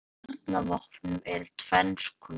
Kjarnahvörf í kjarnorkuvopnum eru tvenns konar.